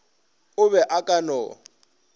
o be a ka no